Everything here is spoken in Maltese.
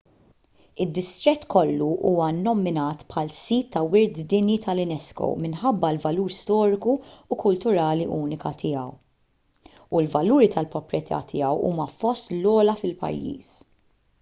id-distrett kollu huwa nnominat bħal sit ta' wirt dinji tal-unesco minħabba l-valur storiku u kulturali uniku tiegħu u l-valuri tal-proprjetà tiegħu huma fost l-ogħla fil-pajjiż